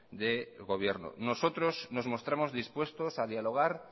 de gobierno nosotros nos mostramos dispuestos a dialogar